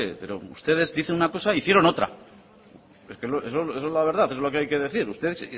pero ustedes dicen una cosa e hicieron otra esa es la verdad es lo que hay que decir ustedes